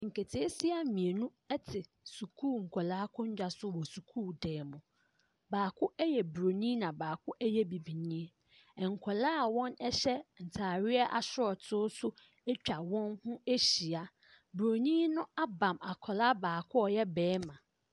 Nketesewa mmienu ɛte sukuu nkɔla akonnwa so wɔ sukuu dan mu baako ɛyɛ buroni na baako ɛyɛ bibinii nkɔla a wɔn ɛhyɛ ntaareɛ ashort nso atwa wɔn ho ahyia buroni no aba akɔla a ɔyɛ barima.